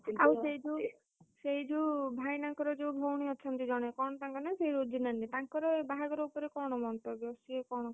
ସେଇ ଯୋଉ, ସେଇ ଯୋଉ ଭାଇନାଙ୍କର ଯୋଉ ଭଉଣୀ ଅଛନ୍ତି ଜଣେ କଣ ତାଙ୍କ ନାଁ ସେ ରୋଜି ନାନୀ ତାଙ୍କର ବାହାଘର ଉପରେ କଣ ମନ୍ତବ୍ୟ, ସିଏ କଣ,